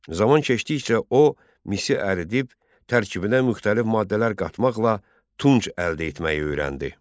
Zaman keçdikcə o misi əridib tərkibinə müxtəlif maddələr qatmaqla tunç əldə etməyi öyrəndi.